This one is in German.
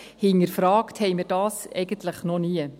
Hinterfragt haben wir es eigentlich noch nie.